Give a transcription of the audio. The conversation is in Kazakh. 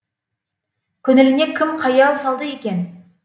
көңіліңе кім қаяу салды екен